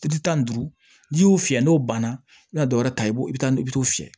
tan ni duuru n'i y'o fiyɛ n'o banna i ka dɔ wɛrɛ ta i b'o i bi taa i bi t'o fiyɛ